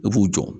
I b'u jɔ